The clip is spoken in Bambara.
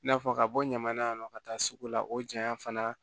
I n'a fɔ ka bɔ ɲaman na yan nɔ ka taa sugu la o jaɲa fana